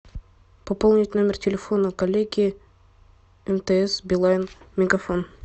пополнить номер телефона коллеги мтс билайн мегафон